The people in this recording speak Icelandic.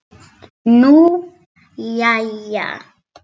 Nú, jæja.